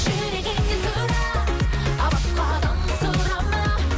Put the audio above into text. жүрегіңнен сұра басқадан сұрама